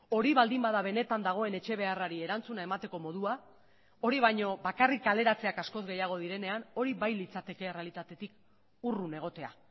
hori baldin bada benetan dagoen etxe beharrari erantzuna emateko modua hori baino bakarrik kaleratzeak askoz gehiago direnean hori bai litzateke errealitatetik urrun egotea